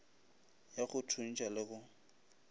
ya go thuntšha le go